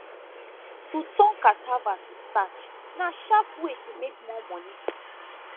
to turn cassava to starch na sharp way to make more money